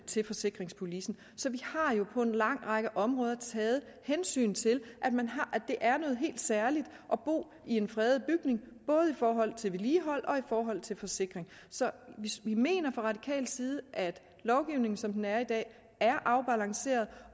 til forsikringspolicen så vi har jo på en lang række områder taget hensyn til at det er noget helt særligt at bo i en fredet bygning både i forhold til vedligehold og i forhold til forsikring så vi mener fra radikal side at lovgivningen som den er i dag er afbalanceret